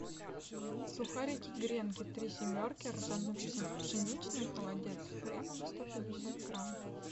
сухарики гренки три семерки ржано пшеничные холодец с хреном сто пятьдесят грамм